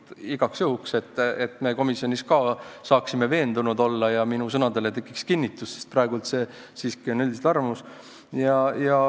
Seda igaks juhuks, et me komisjonis saaksime veendunud olla ja minu sõnadele tekiks kinnitus, sest praegu on see siiski arvamus.